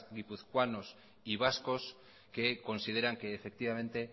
guipuzcoanos y vascos que consideran que efectivamente